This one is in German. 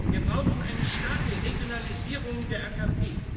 Wir brauchen eine starke Regionalisierung der AKP.